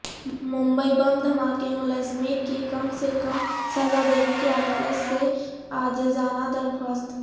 ممبئی بم دھماکہ ملزمین کی کم سے کم سزا دینے کی عدالت سے عاجزانہ درخواست